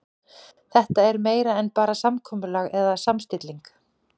Þetta er meira en bara samkomulag eða samstilling.